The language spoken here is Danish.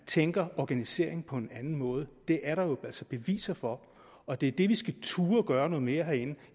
tænke organisering på en anden måde det er der altså beviser på og det er det vi skal turde at gøre noget mere herinde